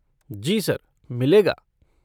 जी sir, मिलेगा।